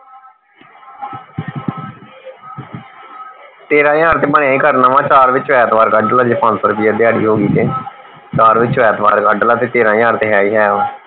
ਤੇਰਾਂ ਹਜਾਰ ਤੇ ਚਾਰ ਵਿਚੋਂ ਐਤਵਾਰ ਕੱਢ ਲਾ ਜੇ ਪੰਜ ਸੋ ਰੁਪਿਆ ਦਿਹਾੜੀ ਹੋਗੀ ਤੇ ਚਾਰ ਵਿਚੋਂ ਐਤਵਾਰ ਕੱਦ ਲਾ ਤੇਰਾਂ ਹਜਾਰ ਤੇ ਹੈ ਹੀ ਹੈ